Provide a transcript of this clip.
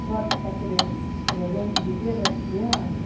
Agora você está querendo presente do Dia das Crianças?